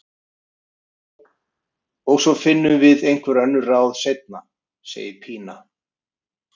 Já, og svo finnum við einhver önnur ráð seinna, segir Pína.